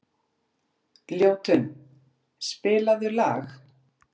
Ljótunn, spilaðu lag.